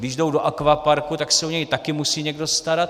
Když jdou do akvaparku, tak se o něj taky musí někdo starat.